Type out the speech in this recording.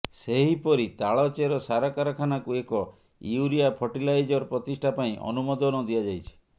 ସେହିପରି ତାଳଚେର ସାର କାରଖାନାକୁ ଏକ ୟୁରିଆ ଫର୍ଟିଲାଇଜର ପ୍ରତିଷ୍ଠା ପାଇଁ ଅନୁମୋଦନ ଦିଆଯାଇଛି